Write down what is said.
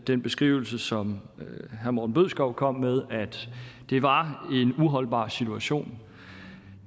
den beskrivelse som herre morten bødskov kom med af at det var en uholdbar situation